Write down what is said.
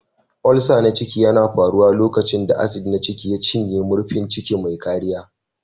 Ulcer na ciki yana faruwa lokacin da acid na ciki ya cinye murfin ciki mai kariya.